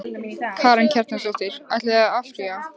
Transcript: Karen Kjartansdóttir: Ætlið þið að áfrýja?